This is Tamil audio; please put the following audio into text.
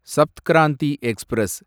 சப்த் கிராந்தி எக்ஸ்பிரஸ்